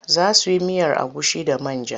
Za su yi miyar agushi da man ja.